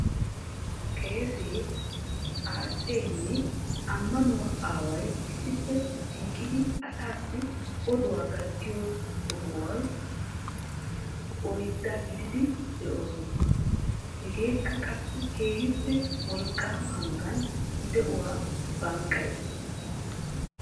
qeese, xaacceenne ammanuwa aaway issippe shiiqidi asaassi oduwa gattiyo sohuwa oydaa gididi deoosona. hegeekka qassi keehippe wolqaama hanotan de'uwa banqqayees.